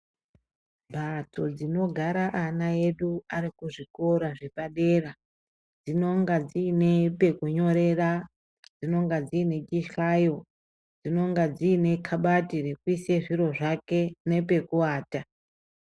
Mbatso dzinogara anaedu arikuzvikora zvepadera dzinonga dziine pekunyorera, dzinonga dzinechihlayo, dzinenga dzinekabati rekuisa zviro zvake nepekuwata .